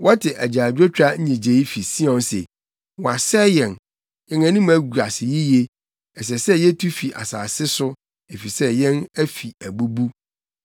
Wɔte agyaadwotwa nnyigyei fi Sion se, ‘Wɔasɛe yɛn! Yɛn anim agu ase yiye! Ɛsɛ sɛ yetu fi yɛn asase so efisɛ yɛn afi abubu.’ ”